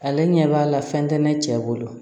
Ale ɲɛ b'a la fɛn tɛ ne cɛ bolo